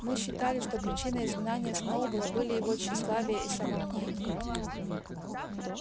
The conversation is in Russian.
мы считали что причиной изгнания сноуболла были его тщеславие и самомнение